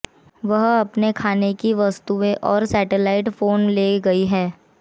वह अपने खाने की वस्तुएं और सेटेलाइट फोन ले गई है